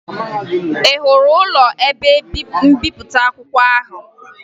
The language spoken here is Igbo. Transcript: Ị hụrụ ụlọ ebe mbipụta akwụkwọ ahụ?